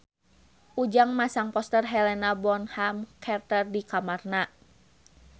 Ujang masang poster Helena Bonham Carter di kamarna